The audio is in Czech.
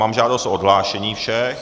Mám žádost o odhlášení všech.